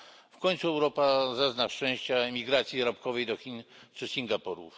W końcu Europa zazna szczęścia emigracji zarobkowej do Chin czy Singapuru.